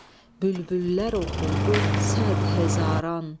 Bülbüllər oxudu sədhəzaran.